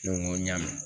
Ne ko n ko n y'a mɛn